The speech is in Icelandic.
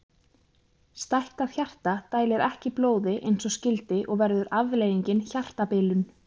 Stækkað hjarta dælir ekki blóði eins og skyldi og verður afleiðingin hjartabilun.